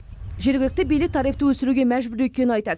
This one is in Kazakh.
жергілікті билік тарифті өсіруге мәжбүр екенін айтады